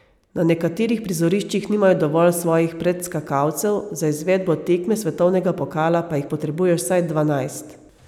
Na nekaterih prizoriščih nimajo dovolj svojih predskakalcev, za izvedbo tekme svetovnega pokala pa jih potrebuješ vsaj dvanajst.